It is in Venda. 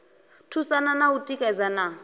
thusana na u tikedzana na